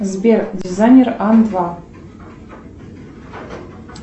сбер дизайнер анвар